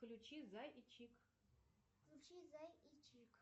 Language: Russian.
включи зай и чик включи зай и чик